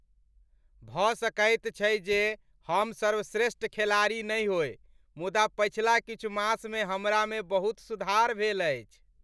भऽ सकैत छै जे हम सर्वश्रेष्ठ खेलाड़ी नहि होइ मुदा पछिला किछु मास मे हमरा मे बहुत सुधार भेल अछि ।